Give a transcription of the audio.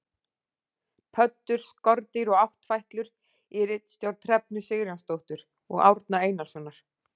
Pöddur: skordýr og áttfætlur, í ritstjórn Hrefnu Sigurjónsdóttur og Árna Einarssonar.